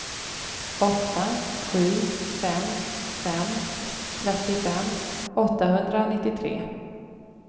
åtta sju fem fem trettiofem åttahundranittiotre